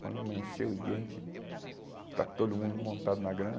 Quando amanheceu o dia, a gente, está todo mundo montado na